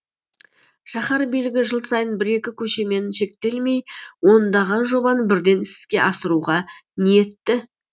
шаһар билігі жыл сайын бір екі көшемен шектелмей ондаған жобаны бірден іске асыруға ниетті